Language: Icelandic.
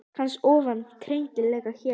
Kannski vofa á kreiki hér.